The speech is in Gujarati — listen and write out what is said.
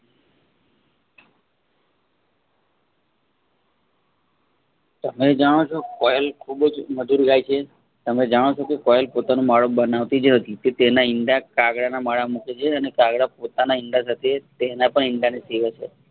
તમે જાણો છો કોયલ ખુબજ મધુર ગાય છે. તમે જાણો છોકે કોયલ પોતાનો માળો બનાવતીજ નથી તે તેના ઈંડા કાગડાના માળા માં મૂકે છે અને કાગડા પોતાના ઈંડા સાથે તેના ઈંડા ને સેવે છે